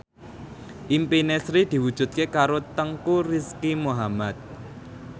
impine Sri diwujudke karo Teuku Rizky Muhammad